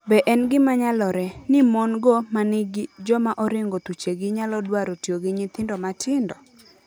Be en gima nyalore... ni mon - go ma gin joma oringo thuchegi nyalo dwaro tiyo gi nyithindo matindo?